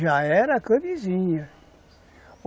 Já era camisinha